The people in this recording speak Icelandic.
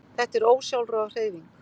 Þetta er ósjálfráð hreyfing.